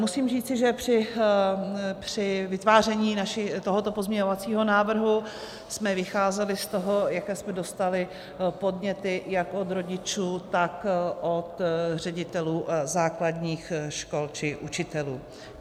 Musím říci, že při vytváření tohoto pozměňovacího návrhu jsme vycházeli z toho, jaké jsme dostali podněty jak od rodičů, tak od ředitelů základních škol či učitelů.